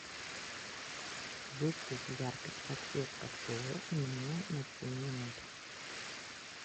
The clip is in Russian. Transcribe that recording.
выставь яркость подсветка пола минимум на семь минут